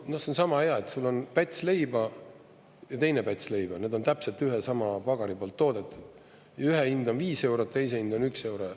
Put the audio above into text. Noh, see on sama hea, et sul on päts leiba ja teine päts leiba, need on täpselt ühe ja sama pagari poolt toodetud, ühe hind on 5 eurot, teise hind on 1 euro.